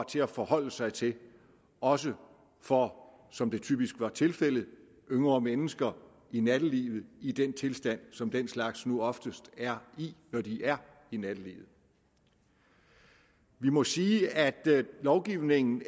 til at forholde sig til også for som det typisk er tilfældet yngre mennesker i nattelivet i den tilstand som den slags nu oftest er i når de er i nattelivet vi må sige at lovgivningen